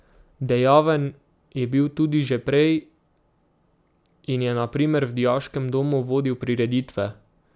Dejaven je bil tudi že prej in je na primer v dijaškem domu vodil prireditve.